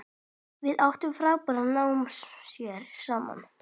Við áttum frábær námsár saman.